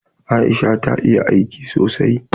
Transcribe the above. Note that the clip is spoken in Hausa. Aisha ta iya aiki sosai?